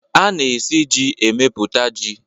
A na-esi ji emepụta ji.